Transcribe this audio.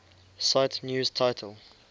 cite news title